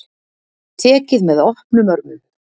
Tekið með opnum örmum